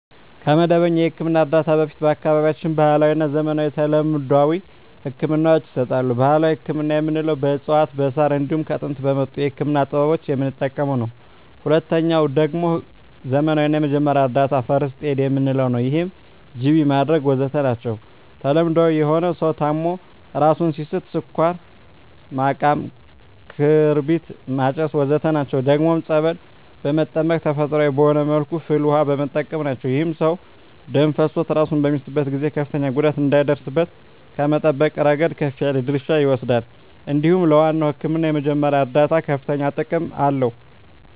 ከመደበኛ የሕክምና እርዳታ በፊት በአካባቢያችን ባህለዊ፣ ዘመናዊና ተለምዷዊ ህክምናወች ይሰጣሉ። ባህላዊ ህክምና የምንለዉ በእፅዋት በዛር እንዲሁም ከጥንት በመጡ የህክምና ጥበቦች የምንጠቀመዉ ነዉ። ሁለተኛዉ ደግሞ ዘመናዊ ወይም የመጀመሪያ እርዳታ(ፈርክት ኤድ) የምንለዉ ነዉ ይህም ጅቢ ማድረግ ወዘተ ናቸዉ። ተለምዳዊ የሆኑት ሰዉ ታሞ እራሱን ሲስት ስኳር ማቃም ክርቢት ማጨስ ወዘተ ናቸዉ። ደግሞም ፀበል በመጠመቅ ተፈጥሮአዊ በሆነ መልኩ ፍል ዉሃ በመጠቀም ናቸዉ። ይህም ሰዉ ደም ፈሶት እራሱን በሚስትበት ጊዜ ከፍተኛ ጉዳት እንዳይደርስበት ከመጠበቅ እረገድ ከፍ ያለ ድርሻ ይወስዳል እንዲሁም ለዋናዉ ህክምና የመጀመሪያ እርዳታ ከፍተኛ ጥቅም አለዉ።